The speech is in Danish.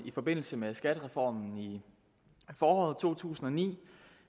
i forbindelse med skattereformen i foråret to tusind og ni